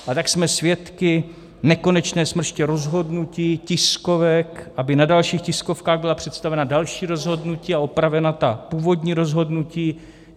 A tak jsme svědky nekonečné smrště rozhodnutí, tiskovek, aby na dalších tiskovkách byla představena další rozhodnutí a opravena ta původní rozhodnutí.